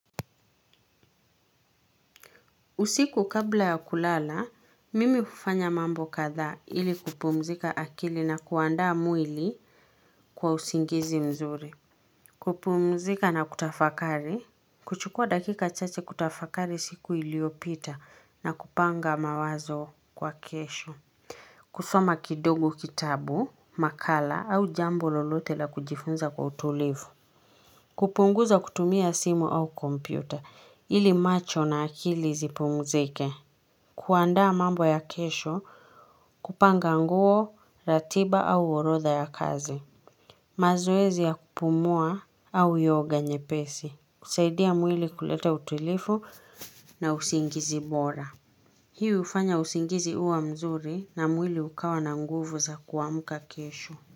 Usiku kabla ya kulala, mimi hufanya mambo kadhaa ili kupumzika akili na kuandaa mwili kwa usingizi mzuri. Kupumzika na kutafakari. Kuchukua dakika chache kutafakari siku iliyopita na kupanga mawazo kwa kesho. Kusoma kidogo kitabu, makala au jambo lolote la kujifunza kwa utulivu. Kupunguza kutumia simu au kompyuta ili macho na akili zipumzike. Kuandaa mambo ya kesho kupanga nguo ratiba au orodha ya kazi. Mazoezi ya kupumua au yoga nyepesi husaidia mwili kuleta utulivu na usingizi bora. Hii hufanya usingizi huwa mzuri na mwili ukawa na nguvu za kuamka kesho.